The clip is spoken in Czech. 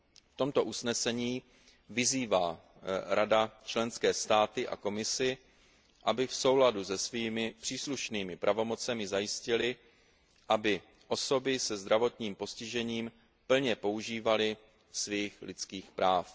V tomto usnesení vyzývá Rada členské státy a Komisi, aby v souladu se svými příslušnými pravomocemi zajistily, aby osoby se zdravotním postižením plně požívaly svých lidských práv.